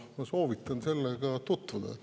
Ma soovitan sellega tutvuda.